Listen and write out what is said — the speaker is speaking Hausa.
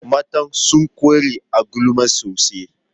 Mata sun ƙware a gulma sosai